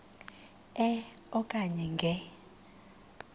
e okanye nge